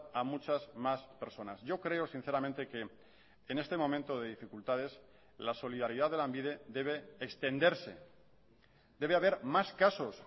a muchas más personas yo creo sinceramente que en este momento de dificultades la solidaridad de lanbide debe extenderse debe haber más casos